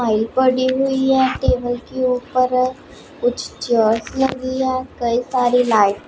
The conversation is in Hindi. वही पड़ी हुई है टेबल के ऊपर कुछ चेयर्स लगी हैं कई सारी लाइट --